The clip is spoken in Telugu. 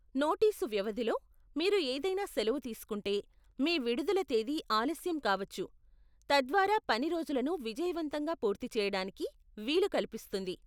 నోటీసు వ్యవధిలో మీరు ఏదైనా సెలవు తీసుకుంటే, మీ విడుదల తేదీ ఆలస్యం కావచ్చు, తద్వారా పని రోజులను విజయవంతంగా పూర్తి చేయడానికి వీలు కల్పిస్తుంది.